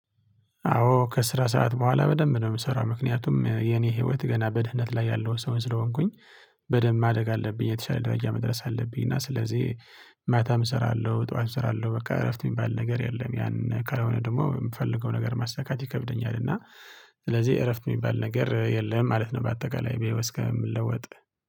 አዎ ከስራ ሰዓት በኋላ በደንብ ነው የምሰራው። ምክንያቱም የኔ ህይወት ገና በድህነት ላይ ያለውን ሰው ስለሆንኩኝ በደንብ ማደግ አለብኝ። የተሻለ ደረጃ መድረስ አለብኝ እና ስለዚህ ማታም እሰራለሁ። ጠዋትም እሰራለሁ። በቃ እረፍት የሚባል ነገር የለም። ያን ካልሆነ ደግሞ የምፈልገው ነገር ማሳካት ይከብደኛል። እና ስለዚህ እረፍት የሚባል ነገር የለም። ማለት ነው። በአጠቃላይ በይው እስከምለወጥ